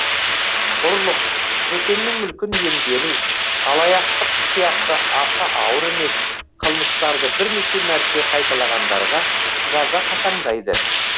ұрлық бөтеннің мүлкін иемдену алаяқтық сияқты аса ауыр емес қылмыстарды бірнеше мәрте қайталағандарға жаза қатаңдайды